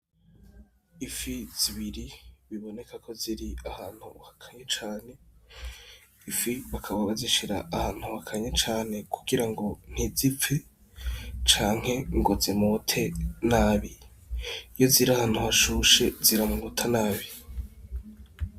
Ifi zibiri biboneka ko ziri ahantu hakanye cane . Ifi bakaba bazishira ahantu hakanye kugira ngo ntizipfe canke ngo zimote nabi . Iyo zir'ahantu hashushe ziramota nabi.